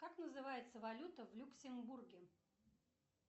как называется валюта в люксембурге